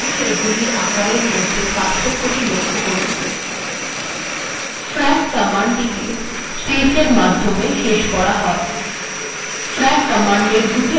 \frac কমান্ডএর দুটি argument থাকে